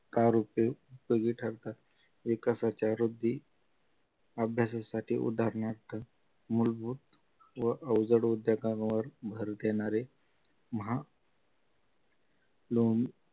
तार होते उपयोगी ठरतात विकासाच्या वृद्धी अभ्यासासाठी उदाहरणार्थ मूलभूत व अवजड उद्योगांवर भर देणारे महा लोन